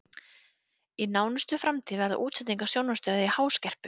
Í nánustu framtíð verða útsendingar sjónvarpsstöðva í háskerpu.